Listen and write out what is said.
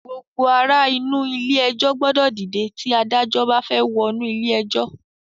Gbogbo ara inú ilé ẹjọ́ gbọ́dọ̀ dìde tí Adájọ́ bá fẹ́ wọnú ilé ẹjọ́